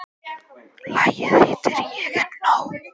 Lagið heitir Ég er nóg.